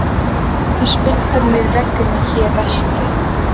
Þú spyrð hvernig mér vegni hér vestra.